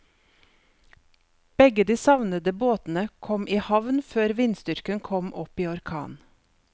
Begge de savnede båtene kom i havn før vindstyrken kom opp i orkan.